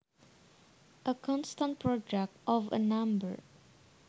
A constant product of a number